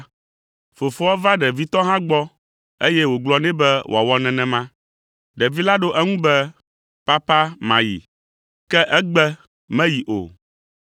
“Fofoa va ɖevitɔ hã gbɔ eye wògblɔ nɛ be wòawɔ nenema. Ɖevi la ɖo eŋu nɛ be, ‘Papa mayi.’ Ke egbe meyi o.